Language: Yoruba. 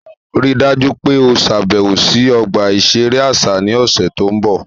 Rii daju pe o ṣabẹwo si ọgba iṣere aṣa ni ọsẹ to nbọ!